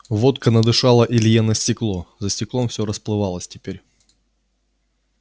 водка надышала илье на стекло за стеклом все расплывалось теперь